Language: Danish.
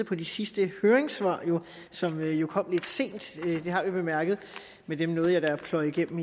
på de sidste høringssvar som jo kom lidt sent det har vi bemærket men jeg nåede da at pløje dem